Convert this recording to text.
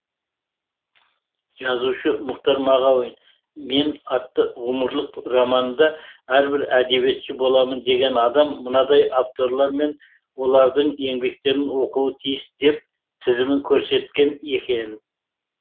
жазушы мұхтар мағауин мен атты ғұмырлық романында әрбір әдебиетші боламын деген адам мынадай авторлар мен олардың еңбектерін оқуы тиіс деп тізімін көрсеткен екен